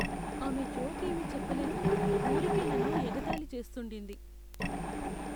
ఆమె జోక్ ఏమీ చెప్ప లేదు, ఊరికే నన్ను ఎగతాళి చేస్తుండింది.